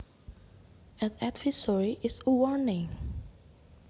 An advisory is a warning